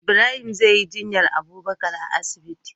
Ibrahim zeyi jinyar abubakar a asibiti